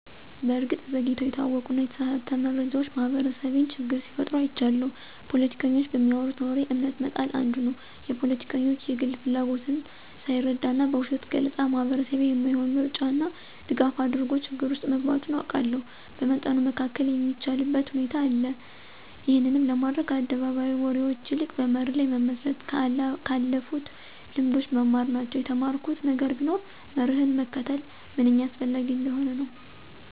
በእርግጥ ዘግይተው የታወቁና የተሳሳተ መረጃዎች ማህበረሰቤን ችግር ሲፈጥሩ አይቻለሁ። ፖለቲከኞች በሚያወሩት ወሬ እምነት መጣል አንዱ ነው። የፖለቲከኞች የግል ፍላጎትን ሳይረዳና በውሸት ገለፃ ማህበረሰቤ የማይሆን ምርጫና ድጋፍ አድርጎ ችግር ውስጥ መግባቱን አውቃለሁ። በመጠኑ መከላከል የሚቻልበት ሁኔታ ነበር። ይህንንም ለማድረግ ከአደባባይ ወሬዎች ይልቅ በመርህ ላይ መመስረት፣ ከአለፉልት ልምዶች መማር ናቸው። የተማርኩት ነገር ቢኖር መርህን መከተል ምንኛ አስፈላጊ እንደሆነ ነው።